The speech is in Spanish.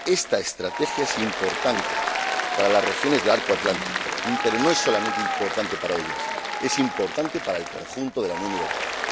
Esta estrategia es importante para las regiones del arco atlántico, pero no es solamente importante para ellas es importante para el conjunto de la Unión Europea.